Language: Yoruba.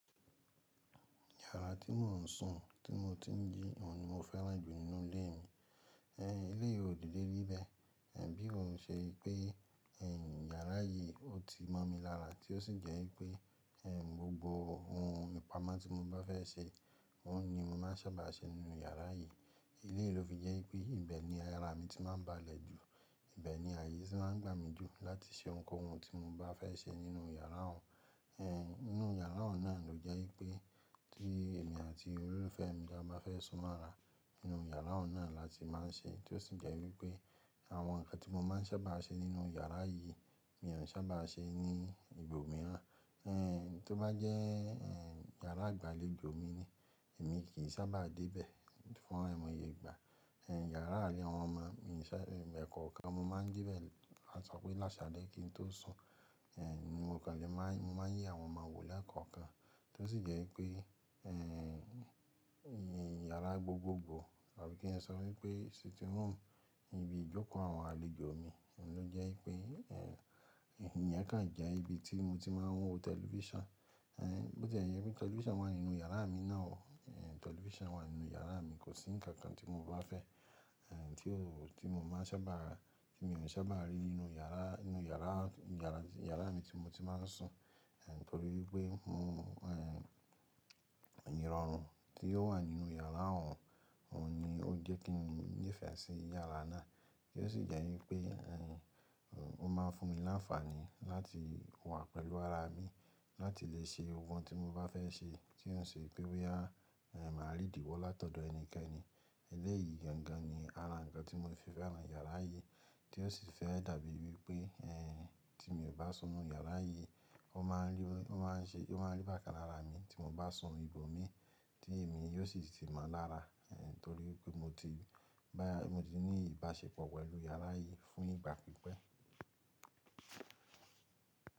Yàrá tí mò ń sùn, tí mo ti ń jí, òun ni mo fẹ́ràn jù nínú ilé mi. Ẹ̀, eleyii ò dede rí beẹ̀. Ẹ̀ bí ó ń ṣe pé ẹ̀ yàrá yìí ó ti mọ mi lára tí ó sì jẹ́ wípé ẹ̀ gbogbo ohun ìpamọ́ tí mo bá fẹ́ ṣe, òun ni mo máa ń sáabà ṣe nínú yàrá yìí. Eleyii ló fi jẹ́ wípé ibẹ̀ ni àrá mi ti máa ń bá lẹ̀ jù, ibẹ̀ ni ààyè tí máa ń gbà mí jù láti ṣe ohunkóhun tí mo bá fẹ́ ṣe nínú yàrá òun. Ẹ̀ nínú yàrá òun náà ló jẹ́ wípé tí èmi àti olólùfẹ́ mi bá má fẹ́ sún mọ́ra nínú yàrá òun náà la ti má ń ṣe tí ó sì jẹ́ wípé àwọn nǹkan tí mo má ń sábà ṣe nínú yàrá yìí, mi ò n saábà ṣe ní ibòmíràn. Ẹ̀ tó bá jẹ́ ẹ̀ yàrá igbàléjò mi ni, èmi kì í sáabà dé ibẹ̀ fún àìmọye ìgbà. Ẹ̀ yàrá àárín àwọn ọmọ mi sì ẹ̀ẹ̀kọ̀ọ̀kan ni mo má ń de ibẹ̀, ki a sọ pé lásalẹ́ kí n tó sùn. Ẹ̀ ni mo kàn le má ń, mo má ń ye àwọn ọmọ wò lẹ́ẹ̀kọ̀ọ̀kan tí ó sì jẹ́ wípé ẹ̀ yàrá gbogbogbò tàbí kí n sọ wípé sitting room, ibi ìjókòó àwọn alèjò mi, òun ló jẹ́ wípé ẹ̀ iyen kan jẹ́ ibi tí mo ti máa ń wo tẹlifíṣàn. Ẹ̀ bó tí ẹ̀ jẹ pé tẹlifíṣàn wà nínú yàrá mi náà o, ẹ̀ tẹlifíṣàn wà nínú yàrá mi kò sí ǹkan kan tí mo bá fẹ́ ẹ̀ tí ó, tí mo máa n saábà, tí mi ò n saábà rí nínú yàrá, nínú yàrá, yàrá, yàrá mi tí mo ti má ń sùn. Ẹ̀ torí pé mò ń ẹ̀ irọ̀run tí ó wà nínú yàrá òun, òun ni ó jẹ́ kí mo nifẹ́ sí yàrá náà tí ó sì jẹ́ wípé ẹ̀ ò máa ń fún mi l'áńfààní láti wà pẹ̀lú ara mi láti lè ṣe gbogbo n tí mo bá fẹ́ ṣe tí ó ń ṣe pé boya máa rí ìdíwọ́ látọ̀dọ̀ ẹnikẹ́ni. Eléyìí gangan ni ara nkan tí mo fi fẹ́ràn yàrá yìí tí ó sì fẹ́ dàbí wípé ẹ̀ tí mi ò bá sùn ínú yàrá yìí, ó máa n, ó maá ń ṣe, ó máa ń rí bàkan lára mi tí mo bá sùn ibò mii tí èmi yóò sì tí mo lára. Ẹ̀ torí pé mo ti bá, mo ti ní ìbáṣepọ̀ pẹ̀lú yàrá yìí fún ìgbà pípẹ́.